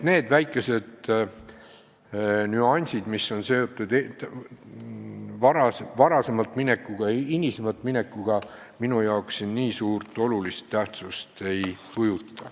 Need väikesed nüansid, mis on seotud varem või hiljem pensionile minekuga, minu jaoks olulise tähtsusega ei ole.